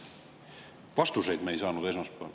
Esmaspäeval me vastuseid ei saanud.